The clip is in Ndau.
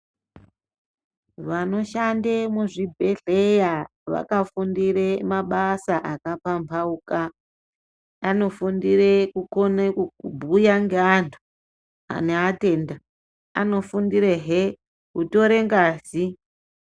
Vanoshande muzvibhedhleya vakafundire mabasa akapambauka. Anofundire kukone kubhuya ngeantu neatenda, anofundirehe kutore ngazi.